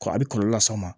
Ko a bɛ kɔlɔlɔ las'a ma